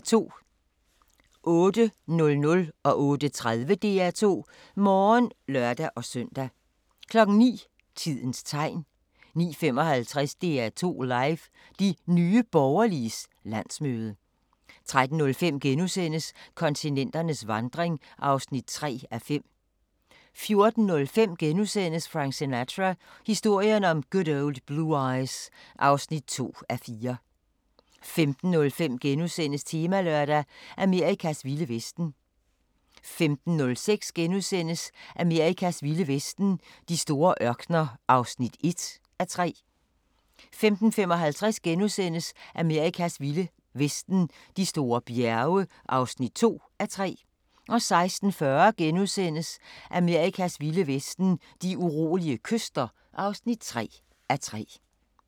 08:00: DR2 Morgen (lør-søn) 08:30: DR2 Morgen (lør-søn) 09:00: Tidens Tegn 09:55: DR2 Live: De Nye Borgerliges landsmøde 13:05: Kontinenternes vandring (3:5)* 14:05: Frank Sinatra – historien om Good Old Blue Eyes (2:4)* 15:05: Temalørdag: Amerikas vilde vesten * 15:06: Amerikas vilde vesten: De store ørkener (1:3)* 15:55: Amerikas vilde vesten: De store bjerge (2:3)* 16:40: Amerikas vilde vesten: De urolige kyster (3:3)*